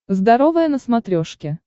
здоровое на смотрешке